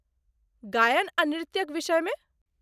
गायन आ नृत्यक विषयमे?